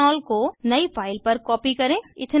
ethanol को नयी file पर कॉपी करें